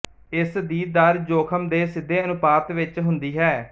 ਇਸ ਦੀ ਦਰ ਜੋਖ਼ਮ ਦੇ ਸਿੱਧੇ ਅਨੁਪਾਤ ਵਿੱਚ ਹੁੰਦੀ ਹੈ